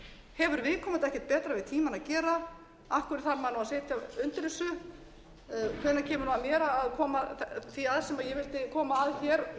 hefur viðkomandi ekkert betra við tímann að gera af hverju þarf maður að sitja undir þessu hvenær kemur að mér að koma því að sem ég vildi koma að helst í